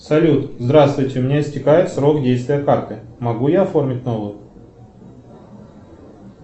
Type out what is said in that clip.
салют здравствуйте у меня истекает срок действия карты могу я оформить новую